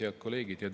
Head kolleegid!